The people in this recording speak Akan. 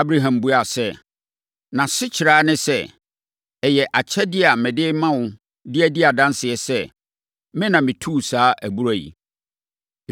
Abraham buaa sɛ, “Nʼasekyerɛ ara ne sɛ, ɛyɛ akyɛdeɛ a mede rema wo de adi adanseɛ sɛ, me na metuu saa abura yi.”